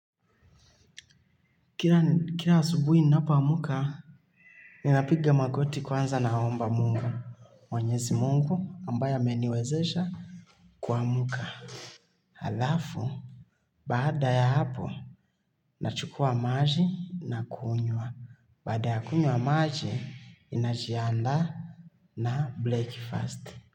Kila asubuhi ninapo amka, ninapiga magoti kwanza naomba mungu. Mwenyezi mungu ambaye ameniwezesha kumka. Alafu, baada ya hapo, nachukua maji na kunywa. Baada ya kunywa maji, ninajianda na break First.